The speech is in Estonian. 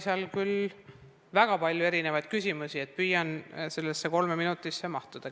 Seal oli küll väga palju erinevaid küsimusi, püüan kolme minutisse mahtuda.